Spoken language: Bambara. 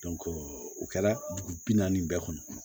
o kɛla dugu bi naani bɛɛ kɔnɔ